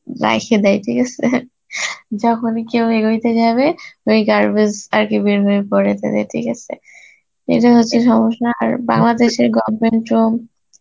রাইখে দেয় ঠিক আসে যখনই কেউ এগোইতে যাবে ওই garbage আরকি বের হয়ে পরে তাদের ঠিক আসে, এটা হচ্ছে সমস্যা আর বাংলাদেশের government ও